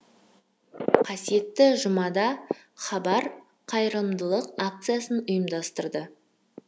қасиетті жұмада хабар қайырымдылық акциясын ұйымдастырды